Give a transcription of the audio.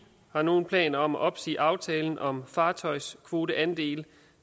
har nogen planer om at opsige aftalen om fartøjskvoteandele